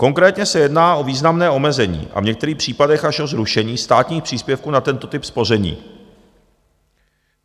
Konkrétně se jedná o významné omezení a v některých případech až o zrušení státních příspěvků na tento typ spoření.